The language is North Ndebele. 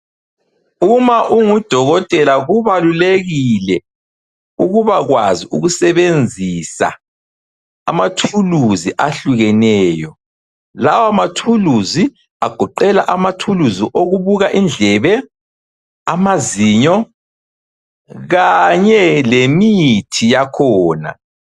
Uma ungudokotela, kubalulekile ukubakwazi ukusebenzisa amathuluzi ahlukeneyo. Lawa mathuluzi agoqela amathuluzi okubuka indlebe, amazinyo, kanye lemithi yakhona.